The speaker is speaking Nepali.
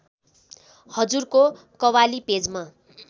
हजुरको कवाली पेजमा